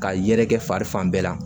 Ka yɛrɛkɛ fari fan bɛɛ la